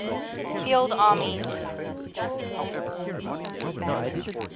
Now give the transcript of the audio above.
field armies